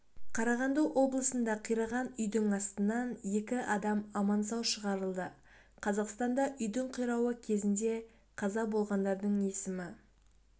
қарағанды облысында қираған үйдің астынан екі адам аман-сау шығарылды қазақстанда үйдің қирауы кезінде қаза болғандардың есімі